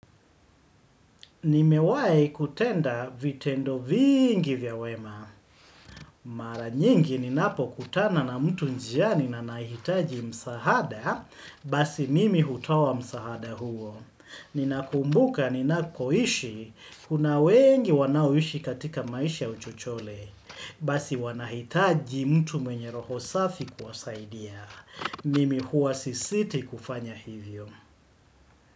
Nimewahi kutenda vitendo vingi vya wema. Mara nyingi ninapokutana na mtu njiani na anahitaji msaada, basi mimi hutoa msaada huo. Ninakumbuka, ninakoishi, kuna wengi wanaoishi katika maisha ya uchochole, basi wanahitaji mtu mwenye roho safi kuwasaidia. Mimi huwa sisiti kufanya hivyo.